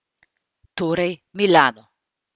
Torej, Milano.